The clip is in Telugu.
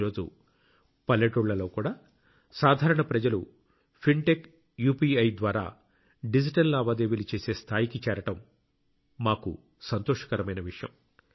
ఈ రోజు పల్లెటూళ్లలో కూడా సాధారణ ప్రజలు ఫిన్టెక్ యూపీఐ ద్వారా డిజిటల్ లావాదేవీలు చేసే స్థాయికి చేరడం మాకు సంతోషకరమైన విషయం